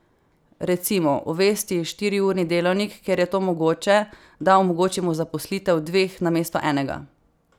Recimo, uvesti štiriurni delavnik, kjer je to mogoče, da omogočimo zaposlitev dveh namesto enega.